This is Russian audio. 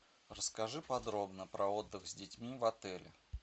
расскажи подробно про отдых с детьми в отеле